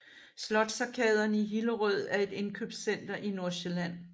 Slotsarkaderne i Hillerød er et indkøbscenter i Nordsjælland